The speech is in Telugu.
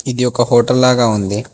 ఇది ఒక హోటల్ లాగా ఉంది.